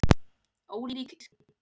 Ólík yrki